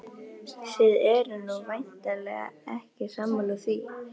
Þið eruð nú væntanlega ekki sammála því?